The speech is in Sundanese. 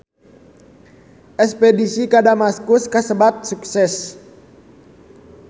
Espedisi ka Damaskus kasebat sukses